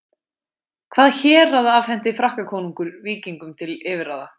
Hvaða hérað afhenti Frakkakonungur Víkingum til yfirráða?